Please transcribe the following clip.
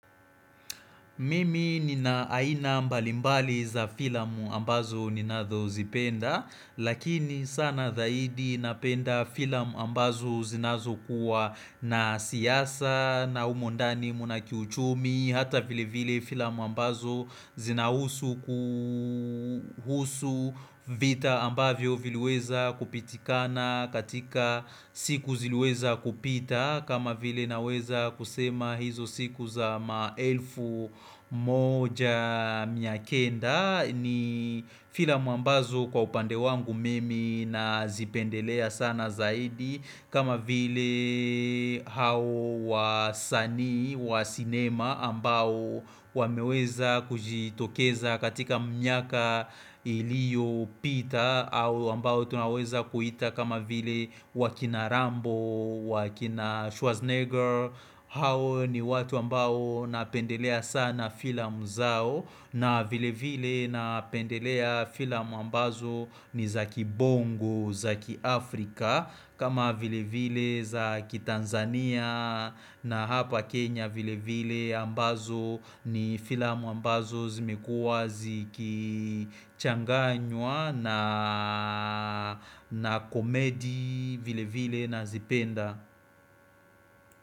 Mimi nina aina mbalimbali za filamu ambazo ninazozipenda, lakini sana zaidi napenda filamu ambazo zinazo kuwa na siasa na humo ndani muna kiuchumi, ni hata vile vile filamu ambazo zinahusu kuhusu vita ambavyo vile weza kupitikana katika siku zile weza kupita kama vile naweza kusema hizo siku za maelfu moja mia kenda ni filamu ambazo kwa upande wangu mimi nazipendelea sana zaidi kama vile hao wasanii, wa sinema ambao wameweza kujitokeza katika miaka ilio pita au ambao tunaweza kuita kama vile wakina Rambo, wakina Schwarzenegger hao ni watu ambao napendelea sana filamu zao na vile vile napendelea filamu ambazo nizaki bongo, zaki Afrika kama vile vile za kitanzania na hapa kenya vile vile ambazo ni filamu ambazo zimekuwa ziki changanywa na komedi vile vile na zipenda.